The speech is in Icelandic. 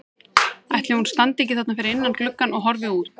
Ætli hún standi ekki þarna fyrir innan gluggann og horfi út?